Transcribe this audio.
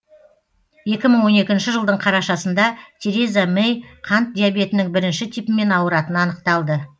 екі мың он екінші жылдың қарашасында тереза мэй қант диабетінің бірінші типімен ауыратыны анықталды